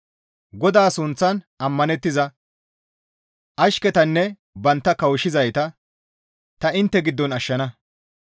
GODAA sunththan ammanettiza; ashketanne banttana kawushshizayta; ta intte giddon ashshana.